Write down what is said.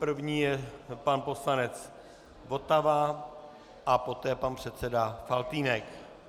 První je pan poslanec Votava a poté pan předseda Faltýnek.